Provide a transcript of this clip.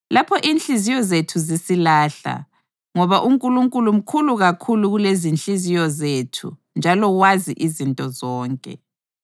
lapho inhliziyo zethu zisilahla. Ngoba uNkulunkulu mkhulu kakhulu kulezinhliziyo zethu njalo wazi izinto zonke.